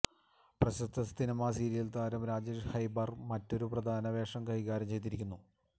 പ്രശസ്ത cinema serial താരം രാജേഷ് ഹെബ്ബാർ മറ്റൊരു പ്രധാന വേഷം കൈകാര്യം ചെയ്തിരിക്കുന്നു